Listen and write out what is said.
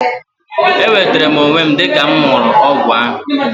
E nwetere m onwe m dịka mụ ṅụrụ ọgwụ ahu